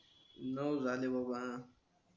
नऊ झाले बाबा